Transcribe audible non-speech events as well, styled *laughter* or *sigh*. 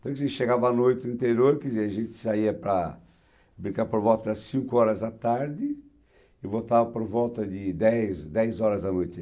*unintelligible* chegava à noite no interior, quer dizer, a gente saía para brincar por volta das cinco horas da tarde e voltava por volta de dez dez horas da noite.